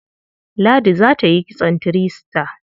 Ladi za ta yi kitson three star.